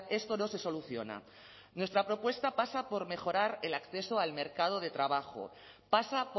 esto no se soluciona nuestra propuesta pasa por mejorar el acceso al mercado de trabajo pasa